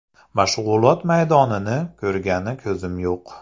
Mashg‘ulot maydonini ko‘rgani ko‘zim yo‘q.